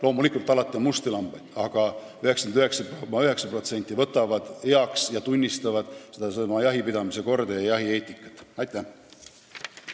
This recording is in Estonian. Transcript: Loomulikult on alati musti lambaid, aga 99,9% tunnistavad sedasama jahipidamise korda ja jahieetikat, võtavad selle omaks.